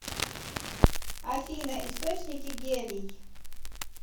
афина источники гелий